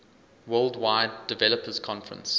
worldwide developers conference